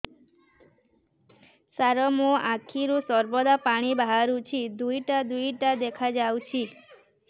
ସାର ମୋ ଆଖିରୁ ସର୍ବଦା ପାଣି ବାହାରୁଛି ଦୁଇଟା ଦୁଇଟା ଦେଖାଯାଉଛି